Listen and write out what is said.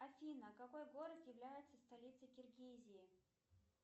афина какой город является столицей киргизии